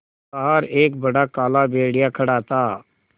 बाहर एक बड़ा काला भेड़िया खड़ा था